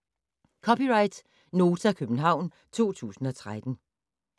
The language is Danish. (c) Nota, København 2013